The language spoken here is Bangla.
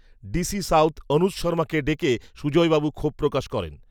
ডি সি সাউথ, অনুজ, শর্মাকে ডেকে সুজয়বাবু ক্ষোভ প্রকাশ করেন